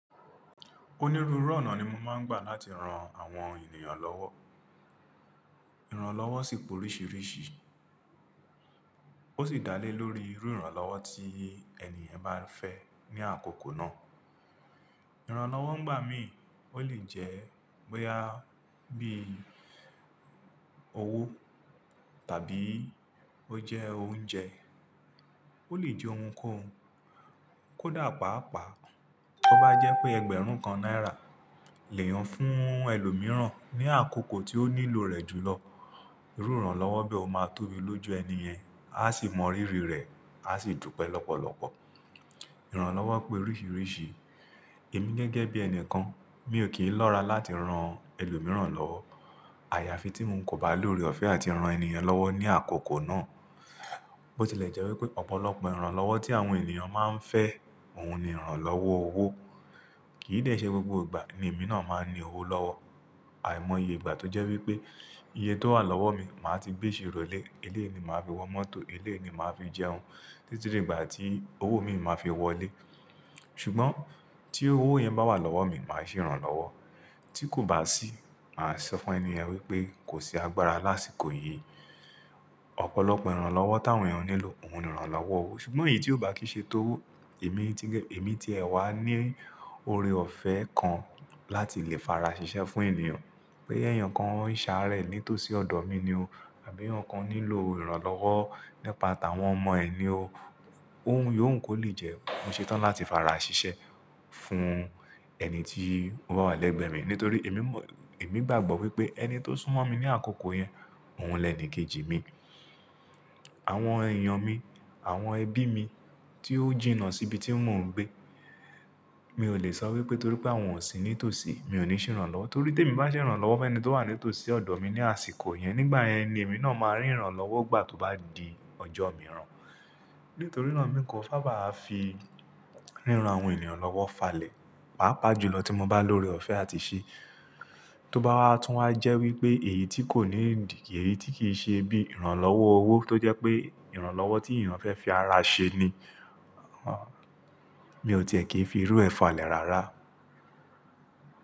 Onírúurú ọnà ni mo máa ń gbà láti ran àwọn ènìyàn lọ́wọ́. Ìrànlọ́wọ́ sì pé oríṣiríṣi, ó sì dá lé lórí irú ìrànlọ́wọ́ tí ènìyàn bá fẹ́ ní àkókò náà. Ìrànlọ́wọ́ ń gbà mí, ó lè jẹ́ bóyá bí i owó tàbí ó jẹ́ oúnjẹ, ó lè jẹ ohunkóhun. Kódà pàápàá, tó bá jẹ́ pé ẹgbẹ̀rún kan náírà le è hun fún ẹlòmíràn ní àkókò tí ó nílò rẹ̀ jùlọ. Irú ìrànlọ́wọ́ bí ó máa tóbi lójú ènìyàn, a sì mọ rírì rẹ̀ a sì dúpẹ́ lọ́pọ̀lọpọ̀. Ìrànlọ́wọ́ pé oríṣiríṣi, èmi gẹ́gẹ́ bí ènìkàn, mi ò kì í lọ́ra láti ran ẹlòmíràn lọ́wọ́. Àyàfi tí ń kò bá lóre ọ̀fẹ́ àti ran ènìyàn lọ́wọ́ ní àkókò náà. Botilẹ̀ jẹ́ wípé ọ̀pọ̀lọpọ̀ ìrànlọ́wọ́ tí àwọn ènìyàn máa ń fẹ́, òun ni ìrànlọ́wọ́ owó. Kì í dẹ ṣé gbogbo ìgbà ni èmi náà máa ń ní owó lọ́wọ́. Àìmọye ìgbà tó jẹ́ wípé iye tó wà lọ́wọ́ mi, màá ti gbé iṣirọ̀ le. Elé ni màá fi wọ mọ́tò, elé ni màá fi jẹun títí di ìgbà tí owó mi màá fi wọlé. Ṣùgbọ́n tí owó yẹn bá wà lọ́wọ́ mi, màá ṣe ìrànlọ́wọ́. Tí kò bá sí, màá sọ fún ènìyàn wípé kò sí agbára lásìkò yìí. Ọ̀pọ̀lọpọ̀ ìrànlọ́wọ́ táwọn ènìyàn nílò, òun ni ìrànlọ́wọ́ owó. Ṣùgbọ́n èyí tí ò bá kì í ṣe tówó, èmi ti, èmi ti ẹ̀ wá ní ore ọ̀fẹ́ kan láti lè farasiṣẹ́ fún ènìyàn. Pé ẹyan kan ń ṣàárẹ̀ nítòsí ọ̀dọ̀ mi ni o, àbí eyan kan nílò ìrànlọ́wọ́ nípa tàwọn ọmọ ẹ ni o. Òun, yóò ń kó lè jẹ́ mo ṣetán láti farasiṣẹ́ fún ẹni tí ó bá wà lẹ́gbẹ̀ẹ́ mi. Nítorí èmi mọ̀, èmi gbàgbọ́ wípé ẹni tó súnmọ́ mi ní àkókò yẹn, òun lẹ̀nìkejì mi. Àwọn èèyàn mi, àwọn ẹbí mi tí ó jìnnà síbi tí mò ń gbé. Mi ò lè sọ wípé torí pé àwọn ò sí nítòsí, mi ò ní ṣe ìrànlọ́wọ́. Torí tí èmi bá ṣe ìrànlọ́wọ́ fún ẹni tó wà nítòsí ọ̀dọ̀ mi ní àsìkò yẹn, nígbà yẹn ni èmi náà máa rí ìrànlọ́wọ́ gbà tó bá di ọjọ́ mìíràn. Nítorí náà mi kò sáàbà fi ríran àwọn ènìyàn lọ́wọ́ falẹ̀. Pàápàá jùlọ tí mo bá lóre ọ̀fẹ́ àti ṣe. Tó bá wá tún wá jẹ́ wípé èyí tí kò ní ìdí, èyí tí kì í ṣe bí ìrànlọ́wọ́ owó tó jẹ́ pé ìrànlọ́wọ́ tí ènìyàn fẹ́ fi ara ṣe ni, mi ò tiẹ̀ kì í fi irú ẹ falẹ̀ rárá.